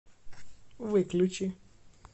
выключи